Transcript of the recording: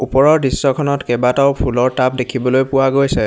ওপৰৰ দৃশ্যখনত কেইবাটাও ফুলৰ টাব দেখিবলৈ পোৱা গৈছে।